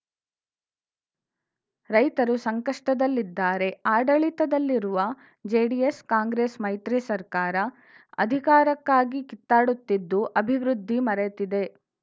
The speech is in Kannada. ರೈತರು ಸಂಕಷ್ಟದಲ್ಲಿದ್ದಾರೆ ಆಡಳಿತದಲ್ಲಿರುವ ಜೆಡಿಎಸ್‌ ಕಾಂಗ್ರೆಸ್‌ ಮೈತ್ರಿಸರ್ಕಾರ ಅಧಿಕಾರಕ್ಕಾಗಿ ಕಿತ್ತಾಡುತ್ತಿದ್ದು ಅಭಿವೃದ್ಧಿ ಮರೆತಿದೆ